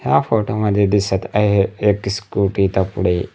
या फोटो मध्ये दिसत आहे एक स्कुटी इथं पुढे.